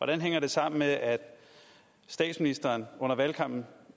det hænger sammen med at statsministeren under valgkampen